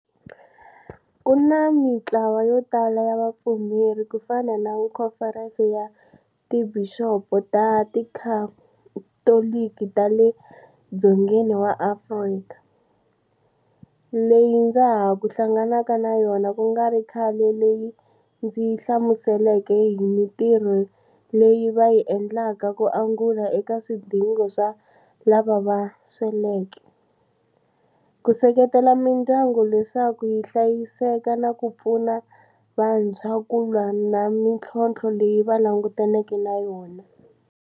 Ku na mitlawa yo tala ya vapfumeri ku fana na Khomferense ya Tibixopo ta Tikhatoliki ta le Dzongeni wa Afrika, leyi ndza ha ku hlanganaka na yona ku nga ri khale leyi yi ndzi hlamuseleke hi mitirho leyi va yi endlaka ku angula eka swidingo swa lava va sweleke, ku seketela mindyangu leswaku yi hlayiseka na ku pfuna vantshwa ku lwa na mitlhotlho leyi va langutaneke na yona.